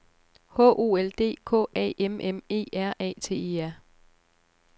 H O L D K A M M E R A T E R